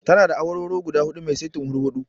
Tana da awarwaro guda huɗu mai saitin hurhuɗu.